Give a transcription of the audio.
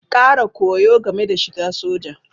Ƙara koyo game da shiga soja.